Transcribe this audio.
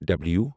W